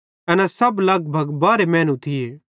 एना सब लगभग बारहे मैनू थिये